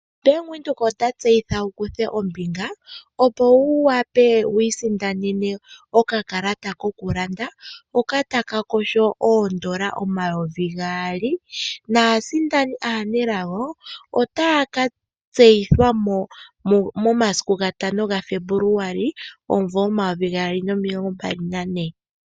Bank Windhoek ota tseyitha wu kuthe ombinga opo wu wape wii sindanene okakalata koku landa, hoka taka kosho oondola omayovi gaali, naasindani aanelago ,otaya ka tseyithwa mo ,momasiku gatano gaFebuluali omumvo omayovi gaali nomilongo mbali na ne.